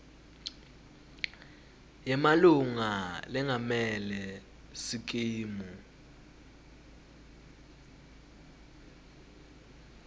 yemalunga lengamele sikimu